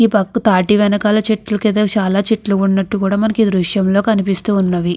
ఈ పక్కన తాటి వెనకాల చెట్లు కదా చాలా చెట్లు ఉన్నట్లు మనకి ఈ దృశ్యం లో కనిపిస్తున్నది.